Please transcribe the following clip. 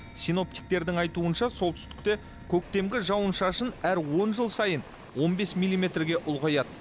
синоптиктердің айтуынша солтүстікте көктемгі жауын шашын әр он жыл сайын он бес миллиметрге ұлғаяды